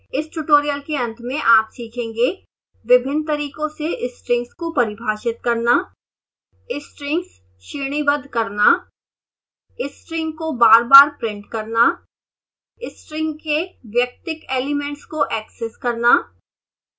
इस ट्यूटोरियल के अंत में आप सीखेंगेः